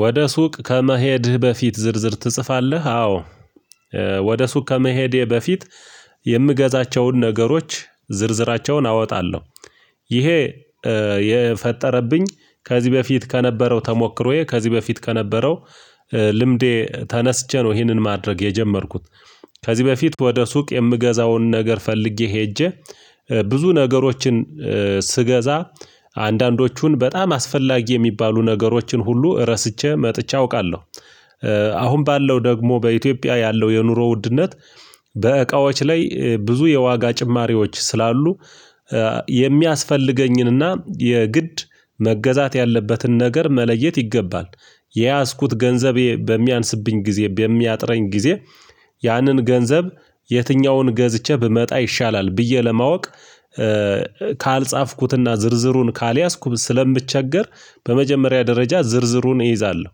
ወደ? ሱቅ ከመሄድህ በፊት ዝርዝር ትጽፋለህ አዎ ወደ ሱቅ ከመሄዴ በፊት የምገዛቸውን ነገሮች ዝርዝራቸውን አወጣለሁ። ይሄ የፈጠረብኝ ከዚህ በፊት ከነበረው ተሞክሮዬ ከዚህ በፊት ከነበረው ልምዴ ተነስቼ ነው ይህንን ማድረግ የጀመርኩት። ከዚህ በፊት ወደ ሱቅ የምገዛውን ነገር ፈልጌ ሄጄ ብዙ ነገሮችን ስገዛ አንዳንዶቹን በጣም አስፈላጊ የሚባሉ ነገሮችን ሁሉ ረስተህ መጥቼ አውቃለሁ። አሁን ባለው ደግሞ በኢትዮጵያ ያለው የኑሮ ውድነት በእቃዎች ላይ ብዙ የዋጋ ጭማሪዎች ስላሉ። የሚያስፈልገኝንና የግድ መገዛት ያለበትን ነገር መለየት ይገባል። የያዝኩት ገንዘቤ በሚያንስብኝ ጊዜ በሚያጥረኝ ጊዜ ያንን ገንዘብ የትኛውን ገዝቼ ብመጣ ይሻላል ብዬ ለማወቅ። ካልጻፍኩትና ዝርዝሩን ካልያዝኩት ስለምቸገር በመጀመሪያ ደረጃ ዝርዝሩን እይዛለሁ።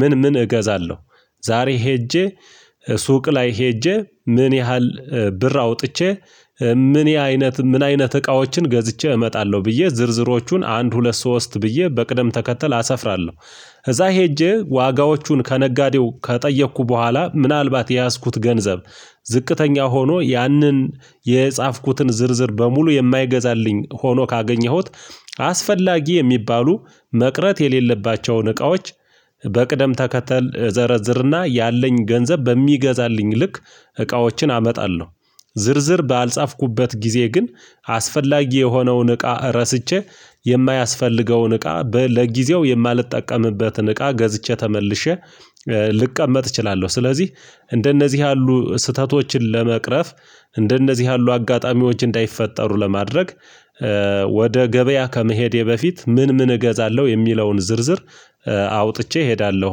ምን ምን እገዛለሁ? ዛሬ ሄጄ ሱቅ ላይ ሄጄ ምን ያህል ብር አውጥቼ ምን ያይነት ምን አይነት እቃዎችን ገዝቼ እመጣለሁ። ብዬ ዝርዝሮቹን አንድ ሁለት ሶስት ብዬ በቅደም ተከተል አሰፍራለሁ። እዛ ሄጄ ዋጋዎቹን ከነጋዴው ከጠየኩ በኋላ ምናልባት የያዝኩት ገንዘብ ዝቅተኛ ሆኖ ያንን የጻፍኩትን ዝርዝር በሙሉ የማይገዛልኝ ሆኖ ካገኘሁት አስፈላጊ የሚባሉ መቅረት የሌለባቸውን እቃዎች በቅደም ተከተል እዘረዝርና ያለኝ ገንዘብ በሚገዛልኝ ልክ እቃዎችን አመጣለሁ። ዝርዝር ባልጻፍኩበት ጊዜ ግን አስፈላጊ የሆነውን እቃ ረስቼ የማያስፈልገውን እቃ ለጊዜው የማልጠቀምበትን እቃ ገዝቼሠ ተመልሼ ልቀመጥ እችላለሁ። ስለዚህ እንደነዚህ ያሉ ስህተቶችን ለመቅረፍ እንደነዚህ ያሉ አጋጣሚዎች እንዳይፈጠሩ የማድረግ። ወደ ገበያ ከመሄዴ በፊት ምን ምን እገዛለሁ የሚለውን ዝርዝር አውጥቼ እሄዳለሁ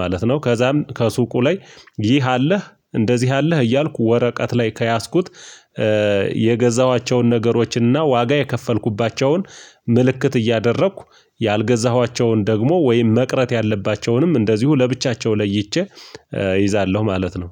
ማለት ነው። ከዛም ከሱቁ ላይ ይህ አለህ እንደዚህ አለህ እያልኩ ወረቀት ላይ ከያዝኩት የገዛኋቸውን ነገሮችንና ዋጋ የከፈልኩባቸውን ምልክት እያደረኩ ያልገዛኋቸውን ደግሞ ወይም መቅረት ያለባቸውንም እንደዚሁ ለብቻቸው ለይቼ እይዛለሁ ማለት ነው።